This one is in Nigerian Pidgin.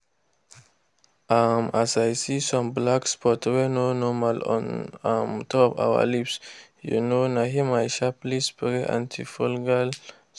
um as i see some black spots wey no normal on um top our leaves um na him i sharply spray anti-fungal spray.